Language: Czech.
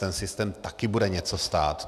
Ten systém taky bude něco stát.